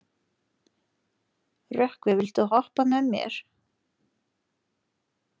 Rökkvi, viltu hoppa með mér?